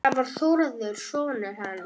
Það var Þórður sonur hans.